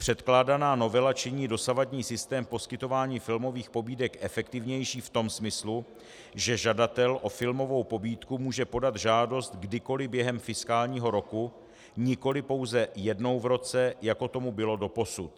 Předkládaná novela činí dosavadní systém poskytování filmových pobídek efektivnějším v tom smyslu, že žadatel o filmovou pobídku může podat žádost kdykoliv během fiskálního roku, nikoliv pouze jednou v roce, jako tomu bylo doposud.